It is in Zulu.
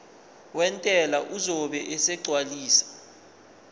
wentela uzobe esegcwalisa